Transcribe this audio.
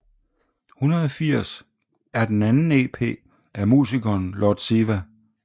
180 er den anden EP af musikeren Lord Siva